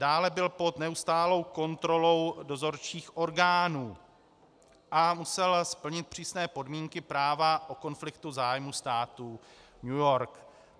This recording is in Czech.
Dále byl pod neustálou kontrolou dozorčích orgánů a musel splnit přísné podmínky práva o konfliktu zájmů státu New York.